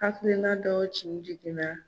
Hakilina dɔw tin jiginna.